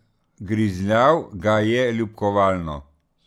Grizljal ga je, ljubkovalno.